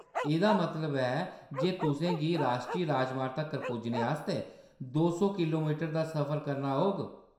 एह्‌‌‌दा मतलब ऐ जे तुसें गी राश्ट्री राजमार्ग तक्कर पुज्जने आस्तै दो सौ किलो मीटर दा सफर करना होग।